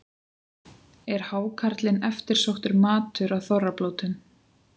Er hákarlinn eftirsóttur matur á þorrablótum?